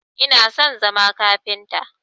Ina son zama kafinta